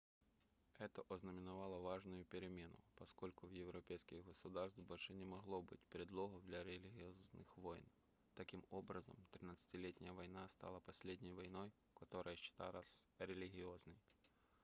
это ознаменовало важную перемену поскольку у европейских государств больше не могло быть предлогов для религиозных войн таким образом тридцатилетняя война стала последней войной которая считалась религиозной